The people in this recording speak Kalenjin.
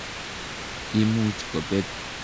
Imuch kopet.